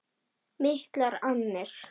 Miklar annir.